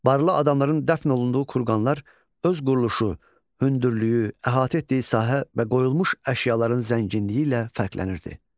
Barlı adamların dəfn olunduğu kurqanlar öz quruluşu, hündürlüyü, əhatə etdiyi sahə və qoyulmuş əşyaların zənginliyi ilə fərqlənirdi.